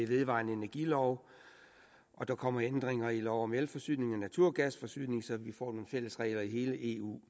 vedvarende energi og der kommer ændringer i lov om elforsyning og naturgasforsyning så vi får nogle fælles regler i hele eu